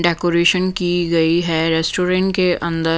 decoration की गई है रेस्टोरेंट के अंदर--